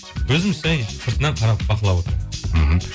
өзіміз жәй сыртынан қарап бақылап отырамын мхм